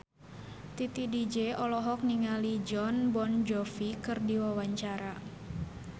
Titi DJ olohok ningali Jon Bon Jovi keur diwawancara